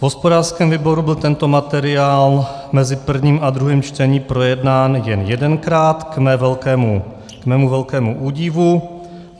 V hospodářském výboru byl tento materiál mezi prvním a druhým čtením projednán jen jedenkrát k mému velkému údivu.